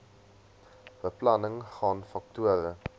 beplanning gaan faktore